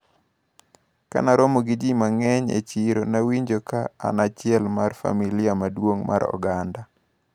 Kanaromo gi ji mang`eny e chiro, nawinjo ka an achiel mar familia maduong` mar oganda.